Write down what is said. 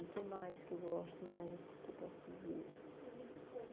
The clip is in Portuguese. E o que mais que eu gosto mais, assim, que eu posso dizer?